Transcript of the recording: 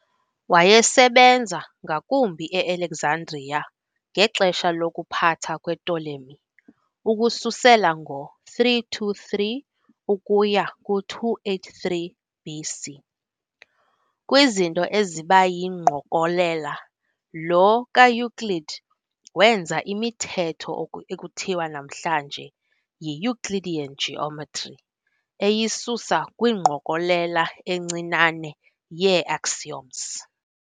Wayesebenza ngakumbi eAlexandria ngexesha lokuphatha kwePtolemy ukususela ngo323 ukuya ku283 BC. Kw"izinto ezibayingqokolela", lo kaEuclid wenza imithetho ekuthiwa namhlanje yiEuclidean geometry eyisusa kwingqokolela encinane yee-axioms.